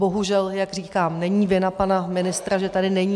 Bohužel, jak říkám, není vina pana ministra, že tady není.